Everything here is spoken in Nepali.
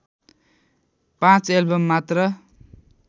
५ एल्बम मात्र